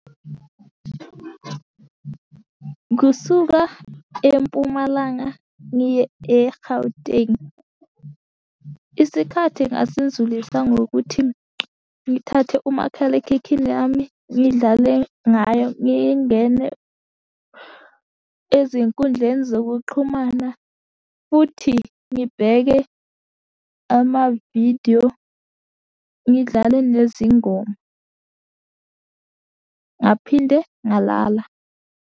Kusuka eMpumalanga, ngiye e-Gauteng. Isikhathi ngasidlulisa ngokuthi ngithathe umakhalekhikhini yami, ngidlale ngayo ngingene ezinkundleni zokuxhumana, futhi ngibheke amavidiyo ngidlale nezingoma. Ngaphinde ngalala.